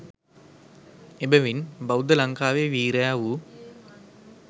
එබැවින් බෞද්ධ ලංකාවේ වීරයා වූ